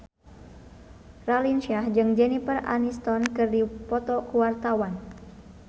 Raline Shah jeung Jennifer Aniston keur dipoto ku wartawan